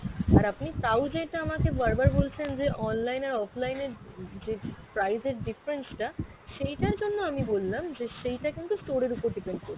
আর আপনি তাও যেটা আমাকে বার বার বলছেন যে online আর offline এ উম যে price এর difference টা সেইটার জন্য আমি বললাম যে সেইটা কিন্তু store এর ওপর depend করছে ।